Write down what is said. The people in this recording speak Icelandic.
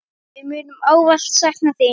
Við munum ávallt sakna þín.